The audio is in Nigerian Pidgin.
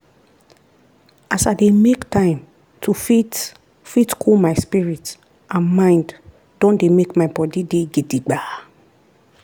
as i dey make time to fit fit cool my spirit and mind don make my body dey gidigba.